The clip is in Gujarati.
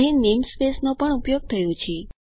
અહીં નેમસ્પેસ નો પણ ઉપયોગ થયો છે